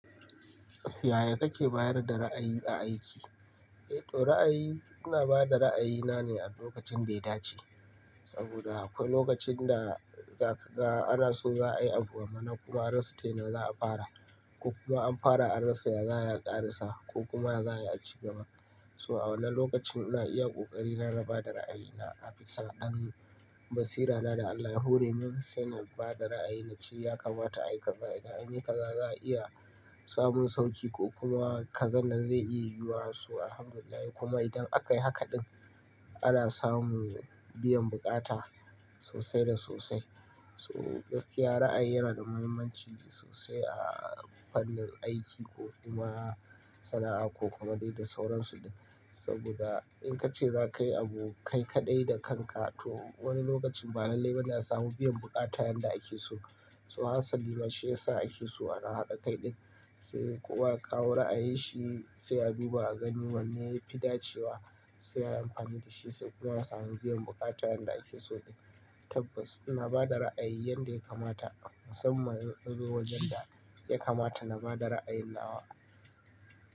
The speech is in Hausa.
Yaya kake bayar da ra'ayi a aiki? Eh to ra'ayi, ina ba da ra'ayi na ne a lokacin da ya dace. Saboda akwai lokacin da zaka ga ana so za a yi abu wa mana kuma an rasa tuna za a fara, ko kuma an fara an rasa ya za ya ƙare sa ko kuma za a yi a ci gaba. So a wannan lokacin ina iya ƙoƙari na na bada ra'ayina a bisa ɗan basira na da Allah ya hore min sai na ba da ra'ayi na cewa ya kamata ayi kaza, idan anyi kaza za a iya samun sauƙi ko kuma kaza nan zai iya yiwuwa. So Alhamdulillah, kuma idan aka yi haka ɗin ana samun biyan buƙata sosai da sosai. So gaskiya ra'ayi yana da muhimmanci sosai a fannin aiki, ko kuma sana'a ko kuma dai da sauransu. Saboda in ka ce za ka yi abu kai kaɗai da kanka to wani lokacin ba lallai ba za a samu biyan buƙata yanda ake so. So hatsali bashi yasa ake so ana haɗa kai ɗin, sai kuwa kawo ra'ayin shi, sai abu ba a gani wanne yafi dacewa sai an yi amfani da shi, sai kuma a samu biyan buƙata yanda ake so ɗin. Tabbas, ina bada ra'ayi yanda ya kamata, musamman in an zo wajen da ya kamata na bada ra'ayin nawa.